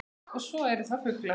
Og svo eru það fuglar